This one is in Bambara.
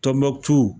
Tɔnbukutu